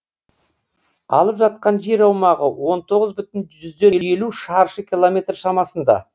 алып жатқан жер аумағы он тоғыз бүтін жүзден елу шаршы километр шамасында